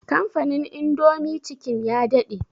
Kamfanin indomie chicken ya daɗe